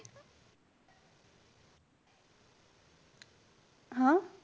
हा.